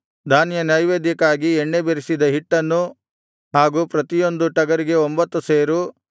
ಧಾನ್ಯನೈವೇದ್ಯಕ್ಕಾಗಿ ಎಣ್ಣೆ ಬೆರಸಿದ ಹಿಟ್ಟನ್ನು ಹಾಗೂ ಪ್ರತಿಯೊಂದು ಟಗರಿಗೆ ಒಂಭತ್ತು ಸೇರು